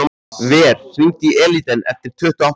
Ver, hringdu í Elíden eftir tuttugu og átta mínútur.